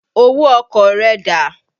Owó ọkọ̀ rẹ dà?